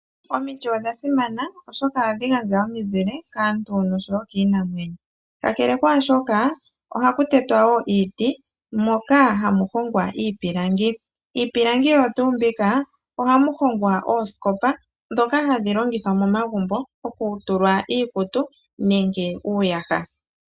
Omiti odha simana oshoka ohadhi gandja ominzile kaantu nokiinamwenyo, ka kele kwaashoka oha ku tetwa wo iiti moka hamu hongwa iipilangi mbyono hayi longithwa okuhongwa osiikopa ndhoka hadhi longithwa momagumbo okutulwa iikutu nenge uuyaha.